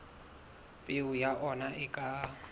peo ya ona e ka